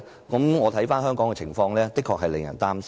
觀乎香港的情況，的確令人擔心。